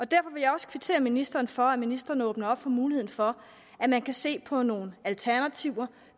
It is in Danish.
derfor vil jeg også kvittere ministeren for at ministeren åbner op for muligheden for at man kan se på nogle alternativer